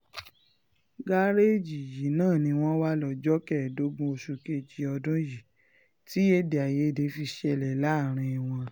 gàréèjì yìí náà ni wọ́n wà lọ́jọ́ kẹẹ̀ẹ́dógún oṣù kejì ọdún yìí tí um èdè àìyedè fi ṣẹlẹ̀ um láàrin wọn